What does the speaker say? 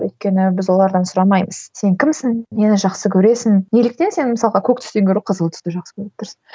өйткені біз олардан сұрамаймыз сен кімсің нені жақсы көресің неліктен сен мысалға көк түстен гөрі қызыл түсті жақсы көріп тұрсың